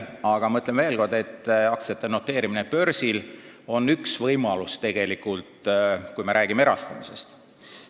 Aga ma ütlen veel kord, et aktsiate noteerimine börsil on tegelikult ainult üks võimalus, kui me räägime erastamisest.